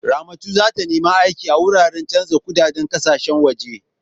Ramatu za ta nemi aiki a wuri canjin kuɗadein ƙasashe waje.